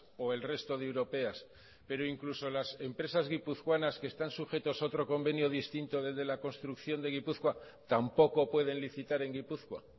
o el resto de europeas pero incluso las empresas guipuzcoanas que están sujetos a otro convenio distinto del de la construcción de gipuzkoa tampoco pueden licitar en gipuzkoa